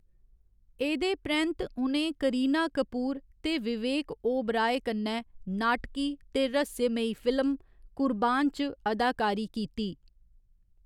एह्‌‌‌दे परैंत्त उ'नें करीना कपूर ते विवेक ओबेराय कन्नै नाटकी ते रहस्यमयी फिल्म 'कुर्बान' च अदाकारी कीती।